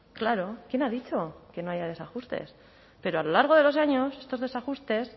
claro quién ha dicho que no haya desajustes pero a lo largo de los años estos desajustes